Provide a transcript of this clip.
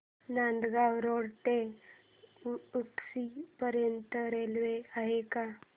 Nandgaon road ते उक्षी पर्यंत railway आहे का